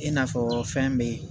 I n'a fɔ fɛn beyi